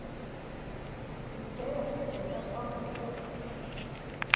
Ég segi ekkert en held áfram að fletta.